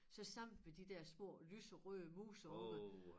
Så samlede vi de der små lyserøde mus heroppe